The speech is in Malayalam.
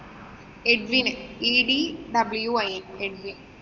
edwinedwinedwin